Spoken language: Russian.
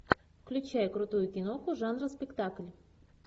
включай крутую киноху жанра спектакль